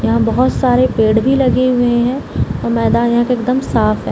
यहाँ बहुत सारे पेड़ भी लगे हुए है और मैदान यहां के एकदम साफ है।